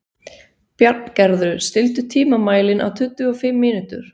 Bjarngerður, stilltu tímamælinn á tuttugu og fimm mínútur.